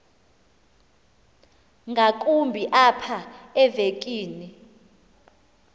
ngakumbi apha evekini